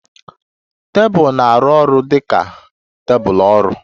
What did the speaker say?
Tebụl na-arụ ọrụ dị ka tebụl ọrụ.